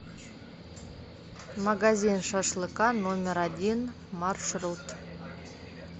магазин шашлыка номер один маршрут